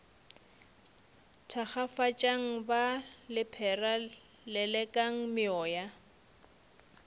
thakgafatšang ba lephera lelekang meoya